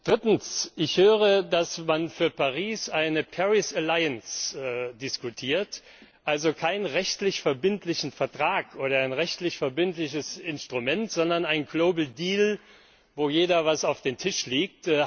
Drittens Ich höre, dass man für Paris eine Paris Alliance diskutiert, also keinen rechtlich verbindlichen Vertrag oder ein rechtlich verbindliches Instrument, sondern einen global deal wo jeder etwas auf den Tisch legt.